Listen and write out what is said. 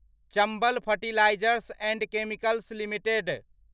Chambal fertilisers and chemicals limited